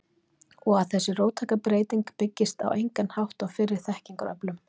Og að þessi róttæka breyting byggist á engan hátt á fyrri þekkingaröflun?